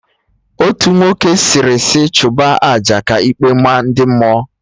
Otu nwoke sịrị sị chụba aja, ka ikpe maa ndị mmụọ